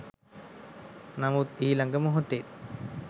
නමුත් ඊළඟ මොහොතේ